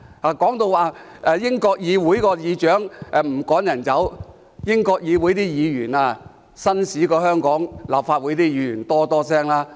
他們提到英國議會的議長不會把議員趕走，可是英國議會的議員較香港立法會議員紳士很多。